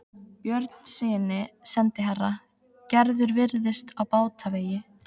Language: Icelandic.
Björnssyni sendiherra: Gerður virðist á batavegi.